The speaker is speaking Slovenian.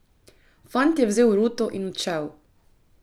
Fant je vzel ruto in odšel.